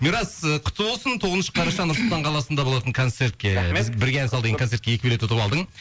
мирас ы құтты болсын тоғызыншы қараша нұр сұлтан қаласында болатын концертке рахмет бірге ән сал деген концертке екі билет ұтып алдың